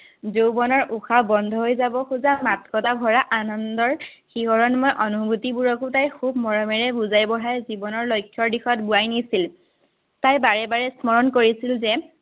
যৌৱনৰ উশাহ বন্ধহৈ যাব খোজা মাদকতা ভৰা আনন্দৰ শিহৰণময় অনুভূতিবোৰকো তাই খুব মৰমেৰে বুজাই-বঢ়াই জীৱনৰ লক্ষ্যৰ দিশত বোৱাই নিছিল। তাই বাৰে বাৰে স্মৰণ কৰিছিল যে